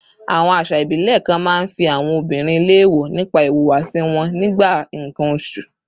Àwọn àṣà ìbílẹ̀ kan máa ń fi àwọn obìnrin léèwọ̀ nípa ìhùwàsí wọn nígbà nǹkan oṣù